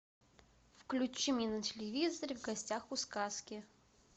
включи мне на телевизоре в гостях у сказки